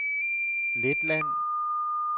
Letland